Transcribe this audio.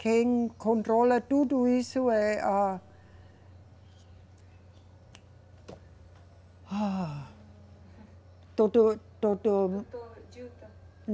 Quem controla tudo isso é a. Doutor, doutor. Doutor